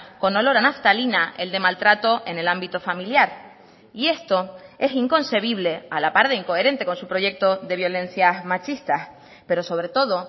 con olor a naftalina el de maltrato en el ámbito familiar y esto es inconcebible a la par de incoherente con su proyecto de violencias machistas pero sobre todo